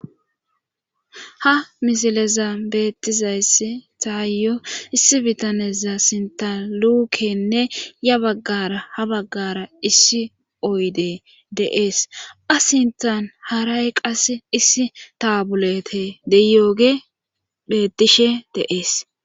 Ha misileza beettizayssi taayyo issi bitaneza sintalukenne ya baggara ha baggara issi oyde deees asintan haray qase issi taabulete deyooge bettishe deees